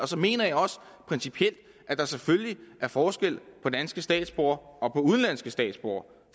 så mener jeg også principielt at der selvfølgelig er forskel på danske statsborgere og på udenlandske statsborgere